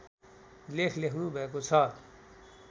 लेख लेख्नुभएको छ